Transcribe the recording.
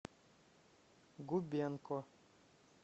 губенко